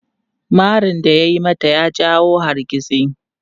Marin da ya yi mata ya jawo hargitsi.